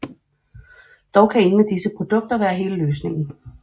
Dog kan ingen af disse produkter være hele løsningen